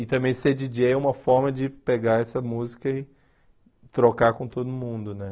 E também ser djíi djêi é uma forma de pegar essa música e trocar com todo mundo, né?